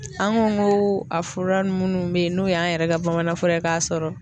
An ko ko a fura minnu bɛ yen n'o y' an yɛrɛ ka bamanan fura k'a sɔrɔ